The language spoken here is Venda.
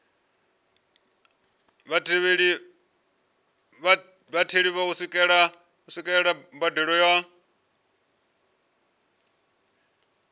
vhatheli u swikelela mbadelo ya